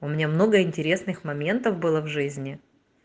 у меня много интересных моментов было в жизни